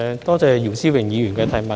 多謝姚思榮議員的補充質詢。